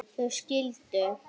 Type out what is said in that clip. þau skildu.